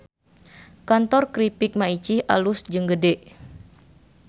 Kantor Kripik Maicih alus jeung gede